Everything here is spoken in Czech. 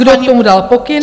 Kdo k tomu dal pokyn.